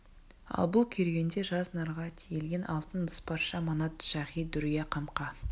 ал бұл керуенде жүз нарға тиелген алтын ыдыс парша манат шағи дүрия қамқа